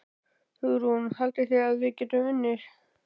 Hugrún: Haldið þið að við getum unnið?